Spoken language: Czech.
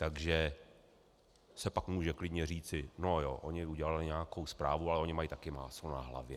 Takže se pak může klidně říci no jo, oni udělali nějakou zprávu, ale oni mají také máslo na hlavě.